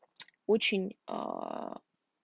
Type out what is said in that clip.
очень аа